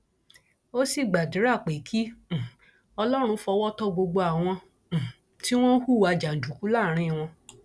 ó sì gbàdúrà pé kí um ọlọrun fọwọ tó gbogbo àwọn um tí wọn ń hùwà jàǹdùkú láàárín wọn